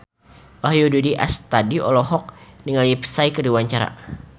Wahyu Rudi Astadi olohok ningali Psy keur diwawancara